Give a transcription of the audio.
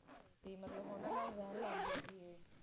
ਕਿ ਮਤਲਬ ਓਹਨਾ ਨਾਲ ਰਹਿਣ ਲੱਗ ਗਏ ਸੀ ਇਹ